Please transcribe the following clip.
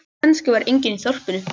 Kannski var enginn eftir í þorpinu.